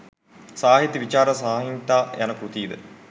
සාහිත්‍ය විචාර සංහිතා යන කෘති ද